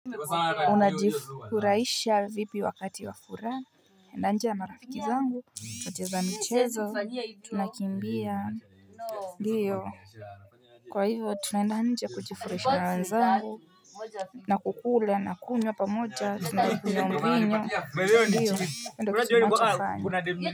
Una jifuraisha vipi wakati wa furaha. Na nje marafiki zangu. Tuna cheza michezo. Tuna kimbia. Ndio. Kwa hivyo, tunaenda nje kujifuraisha na wenzangu. Na kukula, na kunywa pamoja. Tuna kunywa mvinyo. Ndio ndo tunachofanya.